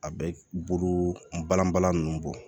A bɛ bolo balan balan nunnu bɔ